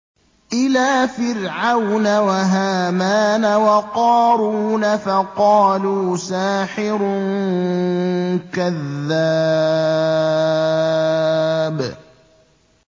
إِلَىٰ فِرْعَوْنَ وَهَامَانَ وَقَارُونَ فَقَالُوا سَاحِرٌ كَذَّابٌ